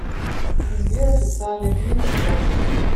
сбер официальный твиттер фонд